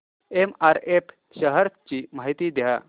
MRF shares ची माहिती द्या